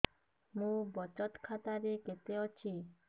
ମୋ ବଚତ ଖାତା ରେ କେତେ ଅଛି